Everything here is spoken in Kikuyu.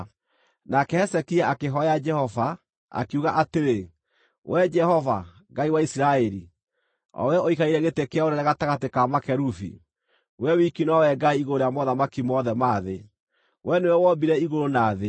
Nake Hezekia akĩhooya Jehova, akiuga atĩrĩ: “Wee Jehova, Ngai wa Isiraeli, o wee ũikarĩire gĩtĩ kĩa ũnene gatagatĩ ka makerubi, Wee wiki nowe Ngai igũrũ rĩa mothamaki mothe ma thĩ. Wee nĩwe wombire igũrũ na thĩ.